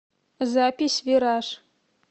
запись вираж